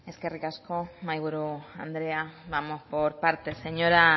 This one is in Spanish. eskerrik asko mahaiburu andrea vamos por partes señora